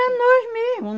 Era nós mesmo.